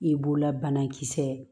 I b'olabanakisɛ